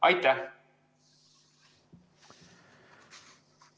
Aitäh!